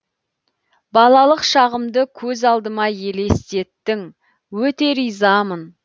балалық шағымды көз алдыма елестеттің өте ризамын